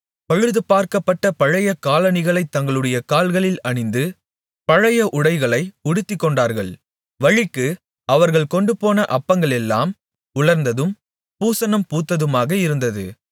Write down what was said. பழுதுபார்க்கப்பட்ட பழைய காலணிகளைத் தங்களுடைய கால்களில் அணிந்து பழைய உடைகளை உடுத்திக்கொண்டார்கள் வழிக்கு அவர்கள் கொண்டுபோன அப்பங்களெல்லாம் உலர்ந்ததும் பூசணம் பூத்ததுமாக இருந்தது